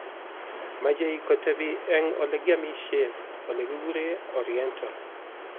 Mechei kotebi eng olegiamishen olegiguree Oriental